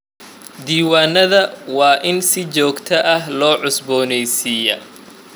Diiwaanadayada waa in si joogto ah loo cusbooneysiiyaa.